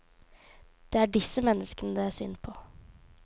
Det er disse menneskene det er synd på.